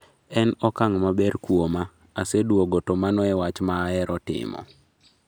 En okang' maber kuoma, aseduogo to mano e wach ma ahero timo